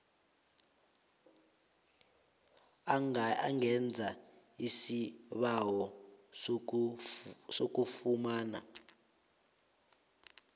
angenza isibawo sokufumana